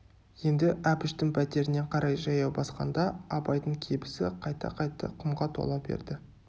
енді әбіштің пәтеріне қарай жаяу басқанда абайдың кебісі қайта-қайта құмға тола берді